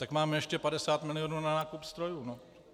Tak máme ještě 50 milionů na nákup strojů.